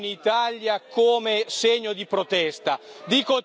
Io rientrerò in Italia come segno di protesta.